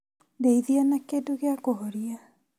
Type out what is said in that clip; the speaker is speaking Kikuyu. Ndeithia na kĩndũ gĩa kũhoria